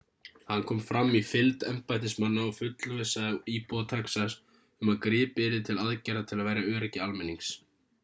hann kom fram í fylgd embættismanna og fullvissaði íbúa texas um að gripið yrði til aðgerða til að verja öryggi almennings